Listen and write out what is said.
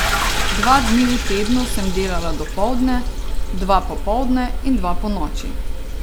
Dva dni v tednu sem delala dopoldne, dva popoldne in dva ponoči.